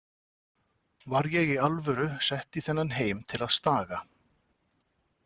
Var ég í alvöru sett í þennan heim til að staga?